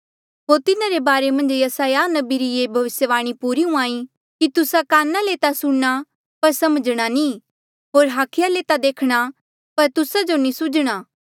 होर तिन्हारे बारे मन्झ यसायाह नबी री ये भविस्यवाणी पूरी हुंहां ई कि तुस्सा काना ले ता सुणना पर समझणा नी होर हाखिया ले ता देखणा पर तुस्सा जो नी सूझणा